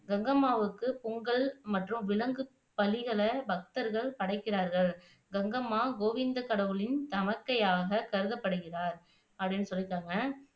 கங்கம்மாவுக்கு பொங்கல் மற்றும் விலங்கு பலிகளை பக்தர்கள் படைக்கிறார்கள். கங்கம்மா, கோவிந்த கடவுளின் தமக்கையாக கருதப்படுகிறார் அப்படின்னு சொல்லியிருக்காங்க